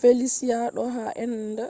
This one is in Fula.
felicia do ha enda